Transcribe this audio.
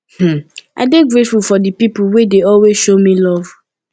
um i dey grateful for di pipo wey dey always show me luv